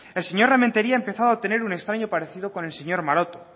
el señor rementeria ha empezado a tener un extraño parecido con el señor maroto